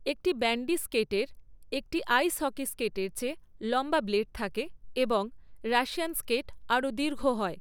একটি ব্যান্ডি স্কেটের একটি আইস হকি স্কেটের চেয়ে লম্বা ব্লেড থাকে এবং 'রাশিয়ান স্কেট' আরও দীর্ঘ হয়।